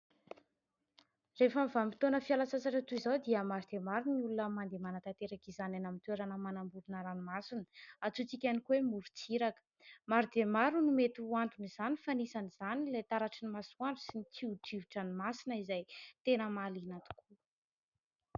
Rehefa amin'ny vanim-potoana fialan-tsasatra toy izao dia maro dia maro ireo olona mandeha manatanteraka izany any amin'ny toerana manamorona ranomasina, antsointsika ihany koa hoe morontsiraka. Maro dia maro no mety ho anton'izany fa anisan'izany ilay taratry ny masoandro sy ny tsiodrivo-dranomasina izay tena mahaliana tokoa.